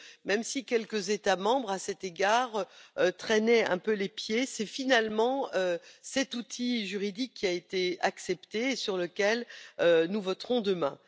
Même si quelques États membres, à cet égard, traînaient un peu les pieds, c'est finalement cet outil juridique qui a été accepté et sur lequel nous voterons demain.